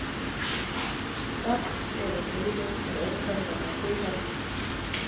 Hrafnseyrarheiði er ófær vegna flughálku